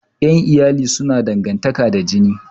Ƴan iyali suna dangantaƙa da jini